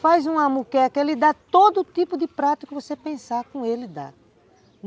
Faz um moqueca, ele dá todo tipo de prato que você pensar, com ele dá.